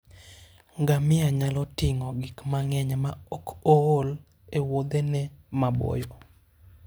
Ngamia nyalo ting'o gik mang'eny maok ool e Wuothene maboyo.